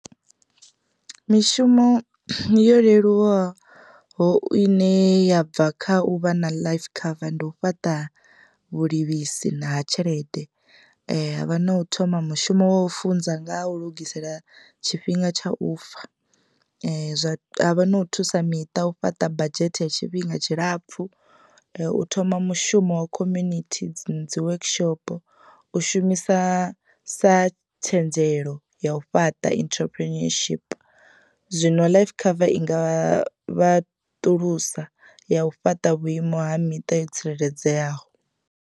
Mishumo yo leluwaho ine ya bva kha u vha na life cover ndi u fhaṱa vhulivhisi na ha tshelede havha na u thoma mushumo wa u funza nga ha u lugisela tshifhinga tsha u fa zwa. Havha na u thusa miṱa u fhaṱa badzhethe ya tshifhinga tshilapfu u thoma mushumo wa community dzi workshop, u shumisa sa tshenzelo ya u fhaṱa entrepreneurship zwino life cover inga vhaṱulusa ya u fhaṱa vhuimo ha miṱa yo tsireledzeaho.